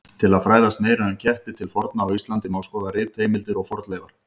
Til að fræðast meira um ketti til forna á Íslandi má skoða ritheimildir og fornleifar.